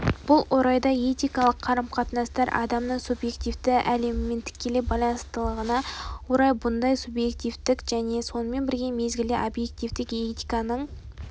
бұл орайда этикалық қарым-қатынастар адамның субьективтік әлемімен тікелей байланысатынына орай бұндай субъективтік және сонымен бір мезгілде объективтік этиканың